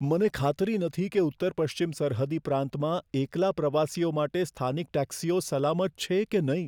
મને ખાતરી નથી કે ઉત્તર પશ્ચિમ સરહદી પ્રાંતમાં એકલા પ્રવાસીઓ માટે સ્થાનિક ટેક્સીઓ સલામત છે કે નહીં.